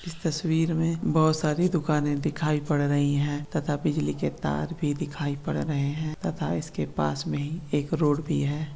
तस्वीर मे बहुत सारी दुकाने दिखाई पड़ रही है तथा बिजली के तार भी दिखाई पड़ रहे है तथा इसके पास मे एक रोड भी है।